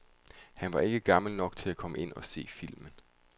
Han var ikke gammel nok til at komme ind og se filmen.